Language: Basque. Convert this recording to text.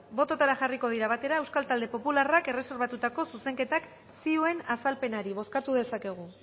botoetara jarriko dira batera euskal talde popularrak erreserbatutako zuzenketak zioen azalpenari bozkatu dezakegu